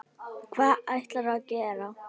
Hvað ætlarðu að gera?